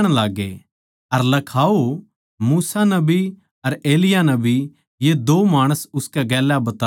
अर लखाओ मूसा नबी अर एलिय्याह नबी ये दो माणस उसकै गेल्या बतळावै थे